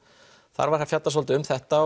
þar var fjallað svolítið um þetta